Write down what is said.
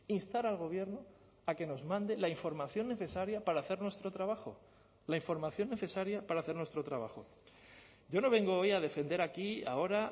instar al gobierno a que nos mande la información necesaria para hacer nuestro trabajo la información necesaria para hacer nuestro trabajo yo no vengo hoy a defender aquí ahora